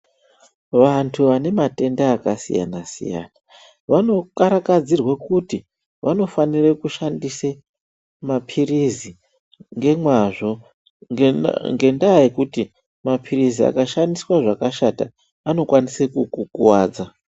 Vantu vanematenda akasiyana-siyana vanokarakadzirwe kuti vanofanire kushandise maphirizi ngemwazvo. Ngendaa yekuti maphirizi akashandiswa zvakashata anokwanise kukukuvadza.